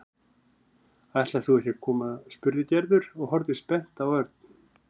Ætlar þú ekki að koma? spurði Gerður og horfði spennt á Örn.